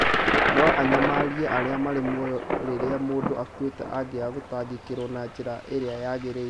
No anyamarie arĩa marĩ mũoyo rĩrĩa mũndũ akuĩte angĩaga gũtangĩkĩrwo na njĩra ĩrĩa yagĩrĩire